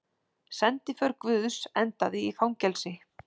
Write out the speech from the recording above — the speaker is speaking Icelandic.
Sendiför guðs endaði í fangelsi